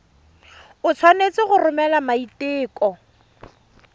o tshwanetse go romela maiteko